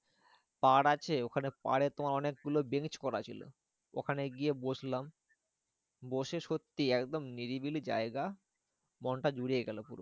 পার আছে ওখানে পারে তোমার অনেকগুলো bench করা ছিল ওখানে গিয়ে বসলাম। বসে সত্যি একদম নিরিবিলি জায়গা, মনটা জুড়িয়ে গেলো।